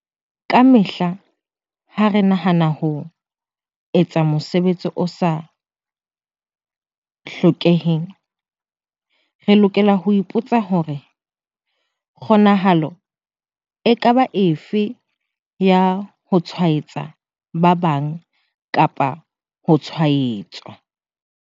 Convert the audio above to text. Kamehla ha re nahana ka ho etsa mosebetsi o sa hlokeheng, re lokela ho ipo tsa hore- kgonahalo e ka ba efe ya ho tshwaetsa ba bang kapa ho tshwaetswa?